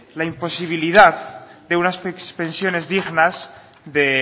la imposibilidad de unas pensiones dignas de